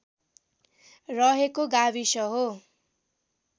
रहेको गाविस हो